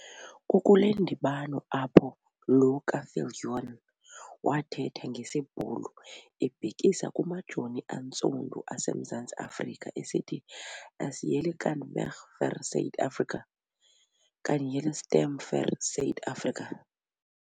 Kukule ndibano apho lo kaviljoen wathetha ngesiBhulu ebhekisa kumajoni antsundu aseMzantsi Afrika esithi - As hulle kan veg vir Suid-Afrika, kan hulle stem vir Suid-Afrika!